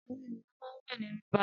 Àwọn ènìyàn máa ń wẹ̀ nínú balùwẹ̀.